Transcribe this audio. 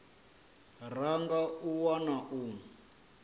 ra nga a wana u